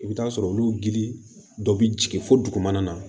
I bɛ taa sɔrɔ olu gili dɔ bɛ jigin fo dugumana na